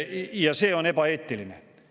Ja see on ebaeetiline.